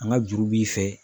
An ka juru b'i fɛ